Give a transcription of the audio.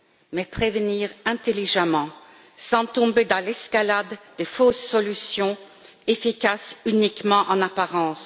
Mais prévenir intelligemment, sans tomber dans l'escalade des fausses solutions, efficaces uniquement en apparence.